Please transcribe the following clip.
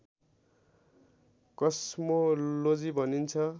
cosmology भनिन्छ